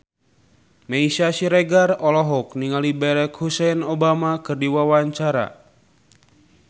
Meisya Siregar olohok ningali Barack Hussein Obama keur diwawancara